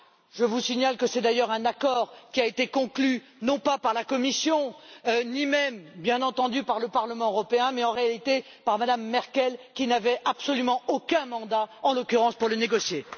Je vous signale que c'est d'ailleurs un accord qui a été conclu, non pas par la Commission ni même, bien entendu, par le Parlement européen, mais, en réalité, par Mme Merkel qui n'avait absolument aucun mandat, en l'occurrence, pour le négocier.